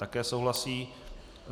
Také souhlasí.